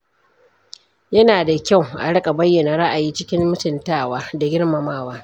Yana da kyau a riƙa bayyana ra’ayi cikin mutuntawa da girmamawa.